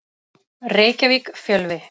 Reykjavík: Fjölvi.